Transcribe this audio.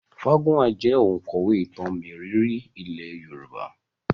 Fágúnwà jẹ́ òǹkọ̀wé ìtàn mérìíìírí ilé Yorùbá